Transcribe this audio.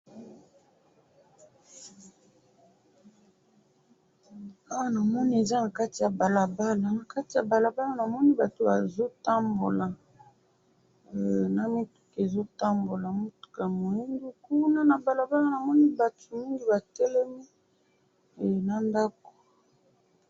awa namoni eza na kati ya balabala, na kati ya balabala namoni bato bazo tambola na mituka ezo tambola mutuka ya muindo kuna na balabala namoni bato mingi batelemi na ndako